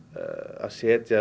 að setja